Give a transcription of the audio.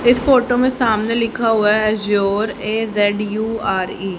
इस फोटो में सामने लिखा हुआ है एज्यूर ए_जेड_यू_आर_ई ।